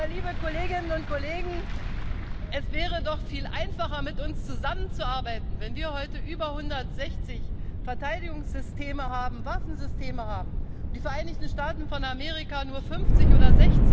liebe Kolleginnen und Kollegen, es wäre doch viel einfacher, mit uns zusammenzuarbeiten, wenn wir heute über 160 Verteidigungssysteme, Waffensysteme haben und die Vereinigten Staaten von Amerika nur 50 oder